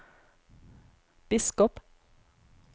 biskop